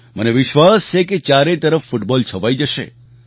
મને વિશ્વાસ છે કે ચારે તરફ ફૂટબૉલ છવાઈ જશે